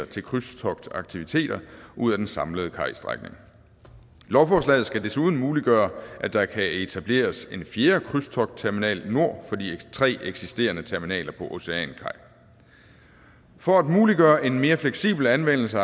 til krydstogtaktiviteter ud af den samlede kajstrækning lovforslaget skal desuden muliggøre at der kan etableres en fjerde krydstogtterminal nord for de tre eksisterende terminaler på oceankaj for at muliggøre en mere fleksibel anvendelse